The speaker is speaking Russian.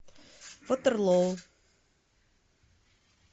ватерлоо